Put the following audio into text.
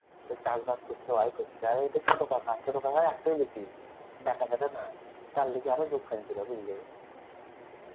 চাষ বাস করছে ওয়াই করছে আর এ তো ছোট কাকা ছোট কাকার একটাই বিটি ব্যাটা ট্যাটা নাই তার লেগে আরো কানছিল বুঝলি.